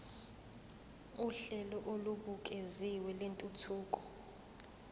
uhlelo olubukeziwe lwentuthuko